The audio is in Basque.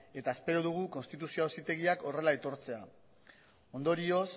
eta espero dugu konstituzio auzitegiak horrela aitortzea ondorioz